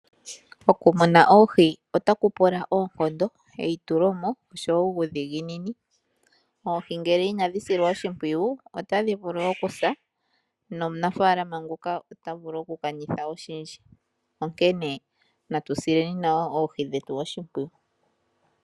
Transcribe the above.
Okumuna oohi otaku pula oonkondo, eitulomo nasho wo uudhinginini. Oohi ngele inadhi silwa oshimpwiyu otadhi vulu okusa nomunafalama ota vulu okulanditha oshindji, onkene natu sileni oohi oshimpwiyu.